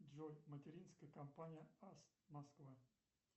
джой материнская компания аст москва